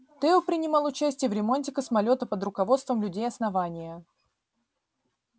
тео принимал участие в ремонте космолёта под руководством людей основания